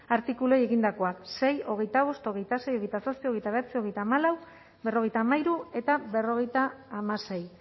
artikuluei egindakoak sei hogeita bost hogeita sei hogeita zazpi hogeita bederatzi hogeita hamalau berrogeita hamairu eta berrogeita hamasei